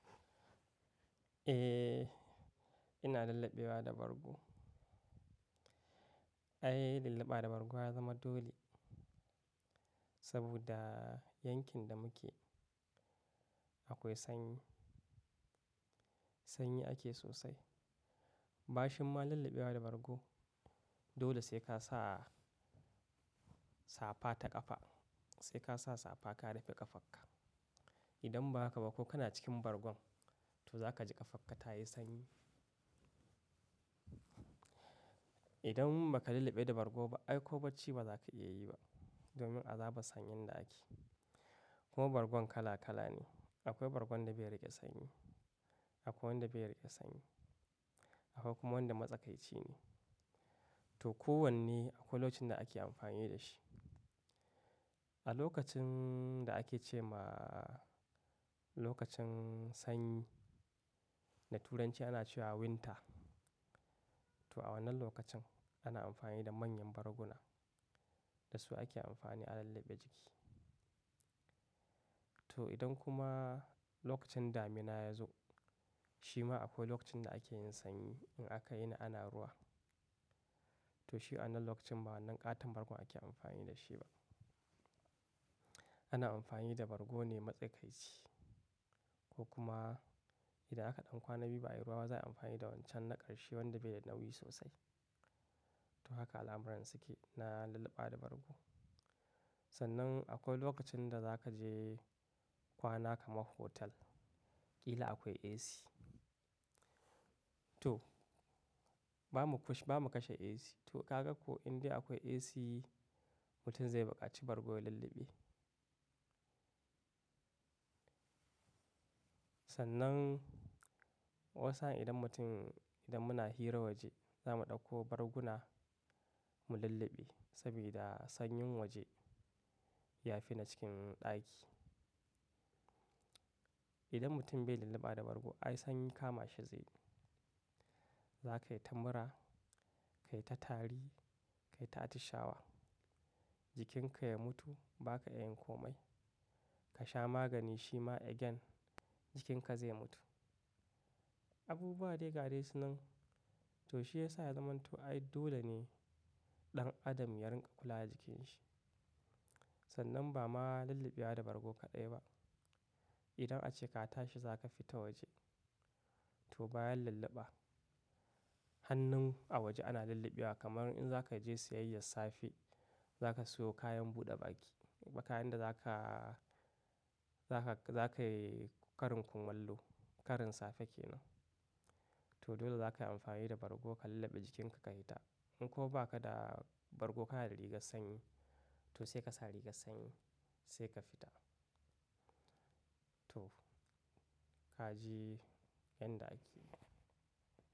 Eh ina lullubewa da bargo. Ai lulluɓa da bargo ya zama dole saboda yankin da muke akwai sanyi, sanyi ake sosai. Bashin ma lullubewa da bargo dole sai ka sa safa ta ƙafa, sai ka sa safa ka rufe ƙafarka. Idan ba haka ba ko kana cikin bargon to za ka ji ƙafarka ta yi sanyi. Idan ba ka lulluɓe da bargo ba ai ƙoɓacci ba za ka iya yi ba domin azaba sanyin da ake. Kuma bargon kala kala ne. Akwai bargon da bai rage sanyi, akwai wanda bai rage sanyi, akwai kuma wanda matsakaici ne. To kowanne akwai lokacin da ake amfani da shi. A lokacin da ake ce ma lokacin sanyi da Turanci ana cewa winter, to a wannan lokacin ana amfani da manyan barguna. Da su ake amfani a lulluɓe jiki. To idan kuma lokacin damina ya zo, shi ma akwai lokacin da ake yin sanyi in aka yi na ana ruwa. To shi a wannan lokacin ba wannan ƙaton bargon ake amfani da shi ba. Ana amfani da bargo ne matsakaici ko kuma idan aka ɗan kwana bi ba yi ruwa ba za a yi amfani da wancan na ƙarshe wanda bai da nauyi sosai. To haka alamuran suke na lulluɓa da bargo. Sannan akwai lokacin da za ka je kwana kamar hotel ƙila akwai AC. To ba mu kash, ba mu kashe AC. To ƙaga ko in dai akwai AC mutum zai bukaci bargo ya lulluɓe. Sannan wani sahin idan mutum, idan muna hira waje za mu ɗauko barguna mu lulluɓe saboda sanyin waje ya fi na cikin ɗaki. Idan mutum bai lulluɓa da bargo ai sanyi kama shi zai. Za ka yi ta mura, ka yi ta tari, ka yi ta atishawa. Jikinka ya mutu ba ka iya yin komai. Ka sha magani shi ma ya gyan jikinka zai mutu. Abubuwa dai ga dai su nan. To shi ya sa ya zama to ai dole ne ɗan adam ya riƙa kula da jikinsa. Sannan ba ma lulluɓewa da bargo kaɗai ba. Idan ace ka tashi za ka fita waje to bayan lulluɓa. Hannun a waje ana lulluɓewa kamar in za ka je siyayyar safe za ka sayo kayan buɗe baki ko kayan da za ka, za ka, za ka yi karin kumallo, karin safe kenan. To dole za ka yi amfani da bargo ka lulluɓe jikinka ka yi ta. In ko ba ka da bargo ka na da rigar sanyi to sai ka sa rigar sanyi sai ka fita. To ka ji yan da ake.